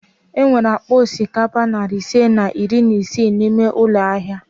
E nwere akpa osikapa nari ise na iri isii n'ime ụlọ ahịa